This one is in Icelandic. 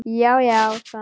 Já, já sagði hann.